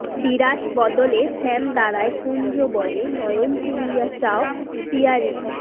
বিরাস বদনে শ্যাম দাঁড়ায় কুঞ্জবনে নয়ন তুলিয়া চাও পিয়ারী